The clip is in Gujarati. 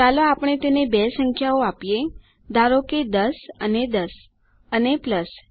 ચાલો આપણે તેને બે સંખ્યાઓ આપીએ ધારો કે 10 અને 10 અને પ્લસ